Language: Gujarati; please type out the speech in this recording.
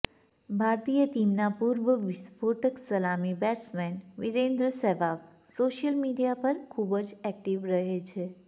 ભારતીય ટીમના પૂર્વ વિસ્ફોટક સલામી batsman Virender Sehwag social media પર ખુબજ એક્ટિવ રહે છે